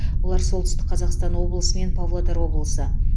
олар солтүстік қазақстан облысы мен павлодар облысы